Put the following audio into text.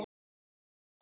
Bara tal.